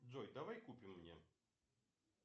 джой давай купим мне